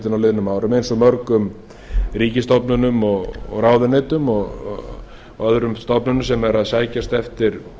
fjármálaeftirlitinu á liðnum árum eins og mörgum ríkisstofnunum og ráðuneytum og öðrum stofnunum sem eru að sækjast eftir